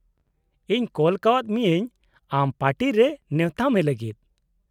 -ᱤᱧ ᱠᱚᱞ ᱠᱟᱣᱟᱫ ᱢᱤᱭᱟᱹᱧ ᱟᱢ ᱯᱟᱨᱴᱤᱨᱮ ᱱᱮᱶᱛᱟ ᱢᱮ ᱞᱟᱹᱜᱤᱫ ᱾